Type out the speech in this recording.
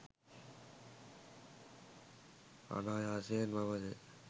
අනායාසයෙන් මම ද